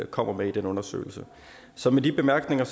kommer med i den undersøgelse så med de bemærkninger